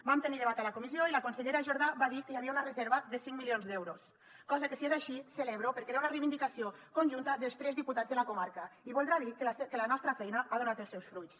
vam tenir debat a la comissió i la consellera jordà va dir que hi havia una reserva de cinc milions d’euros cosa que si és així celebro perquè era una reivindicació conjunta dels tres diputats de la comarca i voldrà dir que la nostra feina ha donat els seus fruits